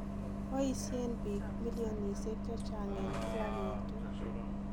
boisien biik milionisiek chechechang en kila betut